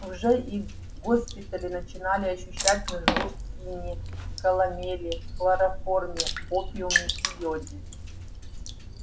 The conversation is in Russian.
уже и госпитали начинали ощущать нужду в хине каломели хлороформе опиуме и йоде